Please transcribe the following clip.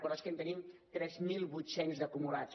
però és que en tenim tres mil vuit cents d’acumulats